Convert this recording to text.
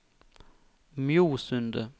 Mjosundet